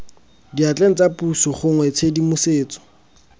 diatleng tsa puso gongwe tshedimosetso